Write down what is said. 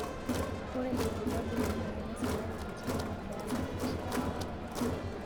Ore ilbulabul lemoyian esukari kiti naa keasa terishata dorrop oleng'.